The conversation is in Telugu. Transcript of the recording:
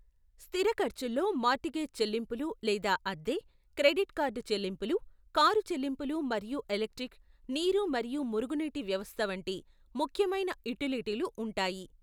స్థిర ఖర్చుల్లో మార్టిగేజ్ చెల్లింపులు లేదా అద్దె, క్రెడిట్ కార్డ్ చెల్లింపులు, కారు చెల్లింపులు మరియు ఎలక్ట్రిక్, నీరు మరియు మురుగునీటి వ్యవస్థ వంటి ముఖ్యమైన యుటిలిటీలు ఉంటాయి.